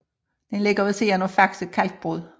Den ligger ved siden af Faxe Kalkbrud